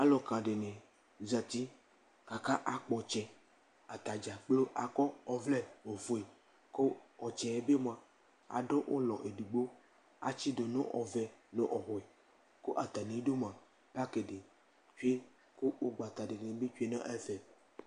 Aluka di ni zati ku aka akpɔ ɔtsɛ, ata dza kplo akɔ ɔvlɛ ofue ku ɔtsɛ bi mʋ, adu ulɔ edigbo, atsidu nu ɔvɛ nu ɔblu , ku ata mi du mʋ, paki tsue ku ugbata di bi tsue nu ɛfɛ